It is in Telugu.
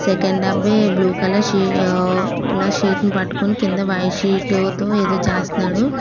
సెకండ్ అబ్బాయి బ్లూ కలర్ షి ఆ ల షీట్ ని పట్టుకొని కింద వైట్ షీట్ తో ఏదో చేస్తానడు.